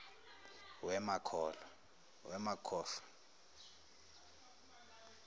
wee ma khohlwa